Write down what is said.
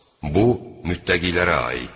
Bu, müttəqilərə aiddir.